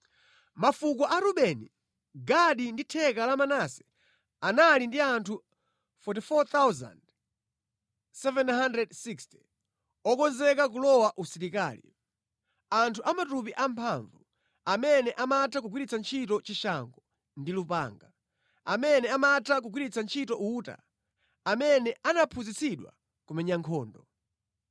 Mafuko a Rubeni, Gadi ndi theka la Manase, anali ndi anthu 44, 760 okonzeka kulowa usilikali; anthu amatupi amphamvu, amene amatha kugwiritsa ntchito chishango ndi lupanga, amene amatha kugwiritsa ntchito uta, amene anaphunzitsidwa kumenya nkhondo.